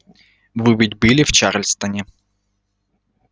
вы ведь были в чарльстоне